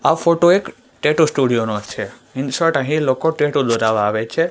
આ ફોટો એક tattoo studio નો છે ઇન્સર્ટ અહીં લોકો ટેટુ દોરાવા આવે છે.